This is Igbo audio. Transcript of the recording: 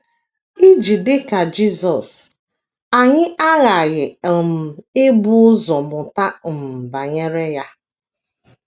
Iji dị ka Jisọs, anyị aghaghị um ibu ụzọ mụta um banyere ya.